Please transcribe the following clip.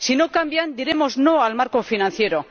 Si no cambian, diremos no al marco financiero.